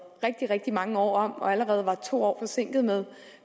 rigtig rigtig mange år om og allerede var to år forsinket med